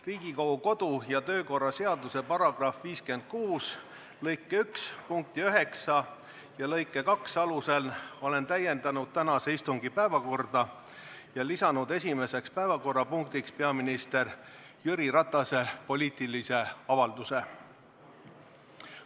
Riigikogu kodu- ja töökorra seaduse § 56 lõike 1 punkti 9 ja lõike 2 alusel olen täiendanud tänase istungi päevakorda ja lisanud esimeseks päevakorrapunktiks peaminister Jüri Ratase poliitilise avalduse.